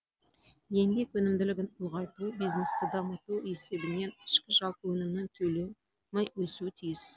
еңбек өнімділігін ұлғайту бизнесті дамыту есебінен ішкі жалпы өнімнің көлемі өсуі тиіс